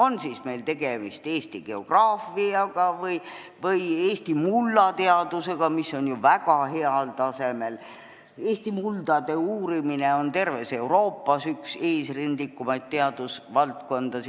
Näiteks, Eesti geograafia või Eesti mullateadus, mis on ju väga heal tasemel, Eestis on muldade uurimine olnud üks eesrindlikumaid terves Euroopas.